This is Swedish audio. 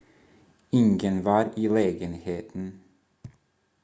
ingen var i lägenheten